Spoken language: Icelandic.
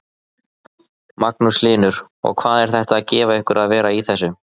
Magnús Hlynur: Og hvað er þetta að gefa ykkur að vera í þessu?